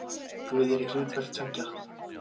Guð er í hlutverki tveggja.